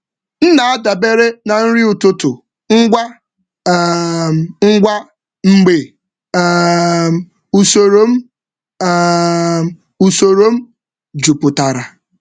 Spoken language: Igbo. M na-adabere na nri ụtụtụ ngwa ngwa mgbe usoro m jupụtara.